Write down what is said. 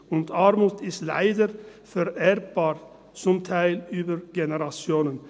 Und Armut ist leider vererbbar, zum Teil über Generationen.